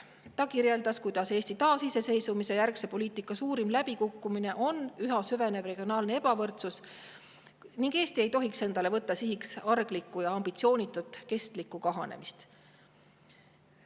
Ta kirjeldas, kuidas Eesti taasiseseisvumise järgse poliitika suurim läbikukkumine on üha süvenev regionaalne ebavõrdsus, ning kinnitas, et Eesti ei tohiks sihiks võtta arglikku ja ambitsioonitut kestlikku kahanemist.